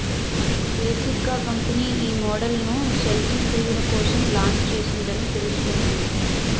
basic గా company ఈ model ను సేల్ఫీ ప్రియుల కోసం లాంచ్ చేసింది అని తెలుస్తుంది